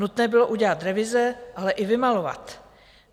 Nutné bylo udělat revize, ale i vymalovat.